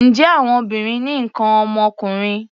Ǹjẹ́ àwọn obìnrin ní nǹkan ọmọkùnrin?